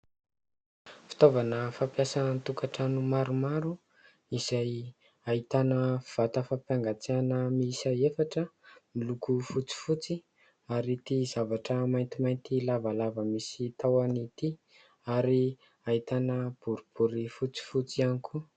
Fitaovana fampiasa an-tokantrano maromaro izay ahitana vata fampangatsiahana miisa efatra, miloko fotsifotsy ary ity zavatra maintimainty lavalava misy tahony ity ary ahitana boribory fotsifotsy ihany koa.